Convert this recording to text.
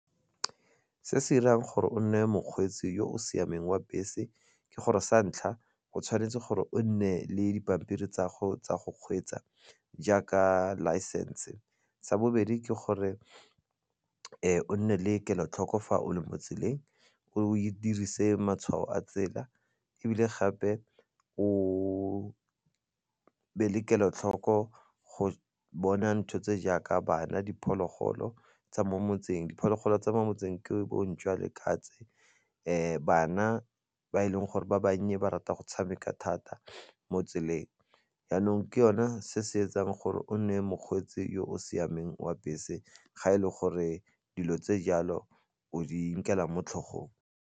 Ke se se 'irang gore o nne mokgweetsi yo o siameng wa bese ke gore sa ntlha go tshwanetse gore o nne le dipampiri tsa go kgweetsa jaaka license, sa bobedi ke gore o nne le kelotlhoko fa o le mo tseleng o dirise matshwao a tsela ebile gape o be le kelotlhoko go bona ntho tse jaaka bana, diphologolo tsa mo motseng. Diphologolo tsa mo motseng ke bo ntšhwa, le katse, bana ba e leng gore ba bannye ba rata go tshameka thata mo tseleng jaanong ke yona se se etsang gore o nne mokgweetsi yo o siameng wa bese ga e le gore dilo tse jalo o di nkela mo tlhogong.